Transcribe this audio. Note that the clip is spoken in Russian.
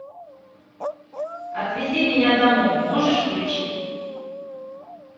отвези меня домой можешь включить